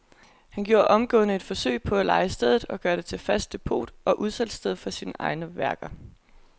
Han gjorde omgående et forsøg på at leje stedet og gøre det til fast depot og udsalgssted for sine egne værker.